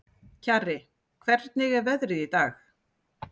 Kjarri, hvernig er veðrið í dag?